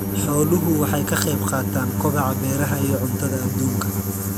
Xooluhu waxay ka qayb qaataan kobaca beeraha iyo cuntada aduunka.